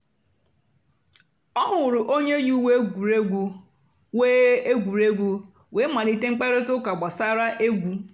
ọ hụ̀rụ̀ ònyè yì ùwé ègwùrègwù wéé ègwùrègwù wéé malìtè mkpáịrịtà ụ́ka gbàsàrà ègwù.